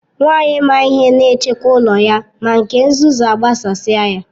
Nwanyị maa ihe na echekwa ụlọ ya, ma nke nzuzu agbasasi ya.